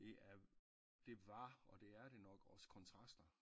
Det er det var og det er det nok også kontraster